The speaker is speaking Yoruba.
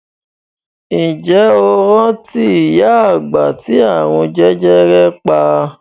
Ǹjẹ́ o rántí ìyá àgbà ti àrùn jẹjẹrẹ pa?